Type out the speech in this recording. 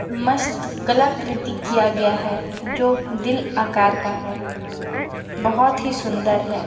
मस्त कला कृति किया गया है जो दिल आकार का है बहोत ही सुन्दर है।